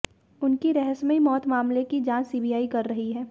उनकी रहस्यमयी मौत मामले की जांच सीबीआई कर रही है